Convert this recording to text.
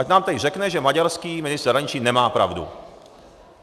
Ať nám tady řekne, že maďarský ministr zahraničí nemá pravdu.